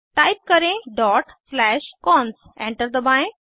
type करें dot slash cons enter दबाएं